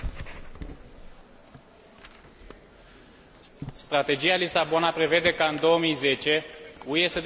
Strategia de la Lisabona prevede ca, în 2010, UE să devină cea mai competitivă și dinamică economie bazată pe cunoaștere.